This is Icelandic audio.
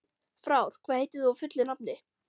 Frár, hvað heitir þú fullu nafni?